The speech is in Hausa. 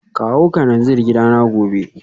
Kawo kananzir gidana gobe